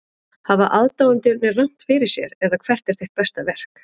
Hafa aðdáendurnir rangt fyrir sér eða hvert er þitt besta verk?